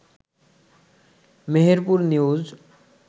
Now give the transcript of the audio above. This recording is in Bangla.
মেহেরপুর নিউজ